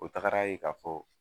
O tagara ye k'a fɔ